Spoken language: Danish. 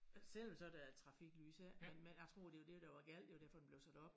Selvom så der er trafiklys ja men men jeg tror det var det der var galt det var derfor den blev sat op